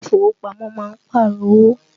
ilé ìfowópamọ́ má ń Pààrọ̀ owó